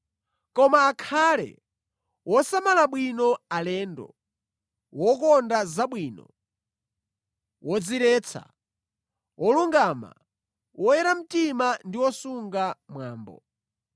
Koma akhale wosamala bwino alendo, wokonda zabwino, wodziretsa, wolungama, woyera mtima ndi wosunga mwambo.